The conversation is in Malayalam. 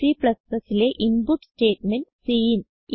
Cലെ ഇൻപുട്ട് സ്റ്റേറ്റ്മെന്റ് സിൻ